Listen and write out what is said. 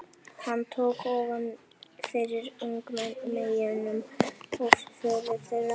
Hann tók ofan fyrir ungmeyjunum og föður þeirra.